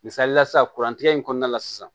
Misalila sisan kurantigɛ in kɔnɔna la sisan